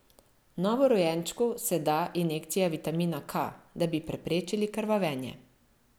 Novorojenčku se da injekcija vitamina K, da bi preprečili krvavenje.